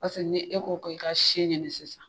Paseke ni e ko ko i ka se ɲini sisan